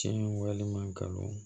Tiɲɛ walima kalon